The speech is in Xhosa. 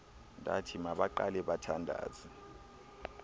ndathi mabaqale bathandaze